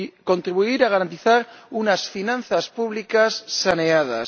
contribuir a garantizar unas finanzas públicas saneadas